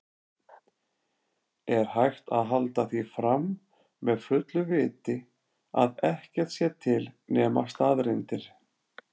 Er hægt að halda því fram með fullu viti að ekkert sé til nema staðreyndir?